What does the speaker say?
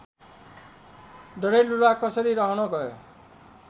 डडेलधुरा कसरी रहन गयो